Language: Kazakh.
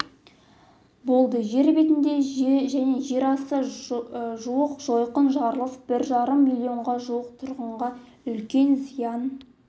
болды жер бетінде және жерасты жуық жойқын жарылыс бір жарым миллионға жуық тұрғынға үлкен зиян